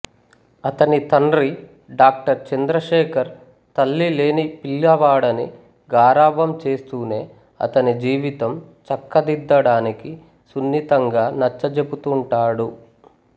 అతని తండ్రి డాక్టర్ చంద్రశేఖర్ తల్లి లేని పిల్లవాడని గారాబం చేస్తూనే అతని జీవితం చక్కదిద్దడానికి సున్నితంగా నచ్చజెపుతుంటాడు